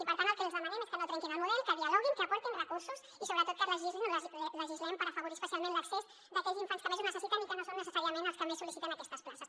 i per tant el que els demanem és que no trenquin el model que dialoguin que aportin recursos i sobretot que legislin o legislem per afavorir hi especialment l’accés d’aquells infants que més ho necessiten i que no són necessàriament els que més sol·liciten aquestes places